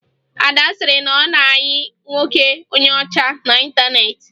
Ada sịrị na ọ na-ayị nwoke onye ọchá n'ịntaneetị